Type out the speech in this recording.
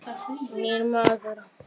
Nýr maður.